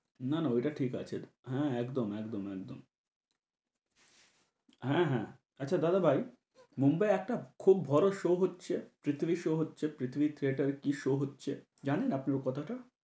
না না ওইটা ঠিক আছে, হ্যাঁ একদম একদম একদম, হ্যাঁ হ্যাঁ। আচ্ছা দাদা ভাই, মুম্বাই একটা খুব বড় show হচ্ছে, পৃথিবীর show হচ্ছে পৃথিবী theatre এ show কী হচ্ছে, জানেন আপনি ও কথাটা?